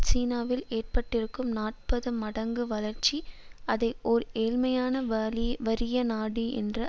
சீனாவில் ஏற்பட்டிருக்கும் நாற்பது மடங்கு வளர்ச்சி அதை ஓர் ஏழ்மையான வறிய நாடு என்ற